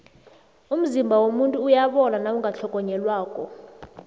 umzimba womuntu uyabola nawungatlhogonyelwako